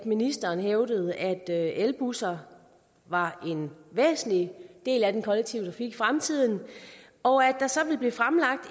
ministeren hævdede at elbusser var en væsentlig del af den kollektive i fremtiden og at der så vil blive fremlagt